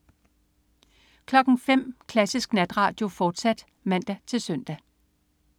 05.00 Klassisk Natradio, fortsat (man-søn)